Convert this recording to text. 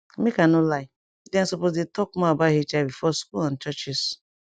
make i no lie dem suppose dey talk more about hiv for school and churches